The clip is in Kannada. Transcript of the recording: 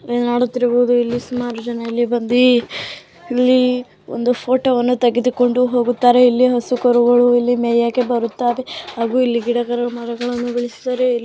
ನೀವು ನೋಡುತ್ತಿರಬಹುದು ಇಲ್ಲಿ ಸುಮಾರು ಜನ ಇಲ್ಲಿ ಬಂಡಿ ಫೋಟೋ ತೆಗೆದುಕೊಂಡು ಹೋಗುತ್ತ್ತಾರೆ ಇಲ್ಲಿ ಹಸು ಕರುಗಳು ಇಲ್ಲಿ ಮೇಯುವುದಕ್ಕೆ ಬರುತ್ತದೆ ಹಾಗು ಇಲ್ಲಿ ಗಿಡಗಳು ಮರಗಳನ್ನು ಬೆಳೆಸಿದರೆ ಇಲ್ಲಿ --